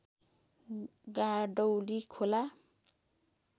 गाडौली खोला